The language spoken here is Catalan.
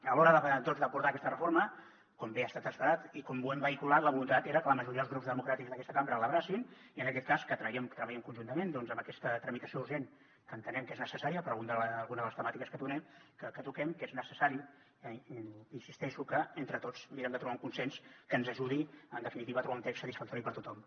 a l’hora doncs d’abordar aquesta reforma com bé ha estat esperat i com ho hem vehiculat la voluntat era que la majoria dels grups democràtics d’aquesta cambra l’abracessin i en aquest cas que treballem conjuntament doncs amb aquesta tramitació urgent que entenem que és necessària per a alguna de les temàtiques que toquem que és necessari hi insisteixo que entre tots mirem de trobar un consens que ens ajudi en definitiva a trobar un text satisfactori per a tothom